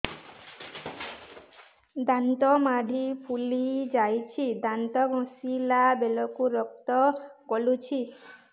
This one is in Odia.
ଦାନ୍ତ ମାଢ଼ୀ ଫୁଲି ଯାଉଛି ଦାନ୍ତ ଘଷିଲା ବେଳକୁ ରକ୍ତ ଗଳୁଛି